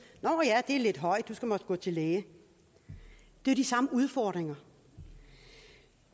nå ja det er lidt højt du skal måske gå til lægen det er de samme udfordringer